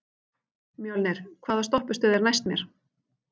Mjölnir, hvaða stoppistöð er næst mér?